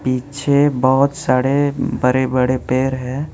पीछे बहोत सारे बड़े बड़े पेड़ है।